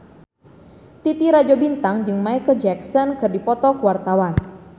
Titi Rajo Bintang jeung Micheal Jackson keur dipoto ku wartawan